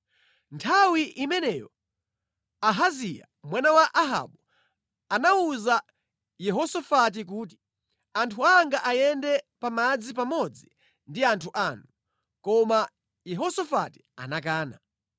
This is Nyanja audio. Nthawi imeneyo Ahaziya mwana wa Ahabu anawuza Yehosafati kuti, “Anthu anga ayende pa madzi pamodzi ndi anthu anu,” koma Yehosafati anakana.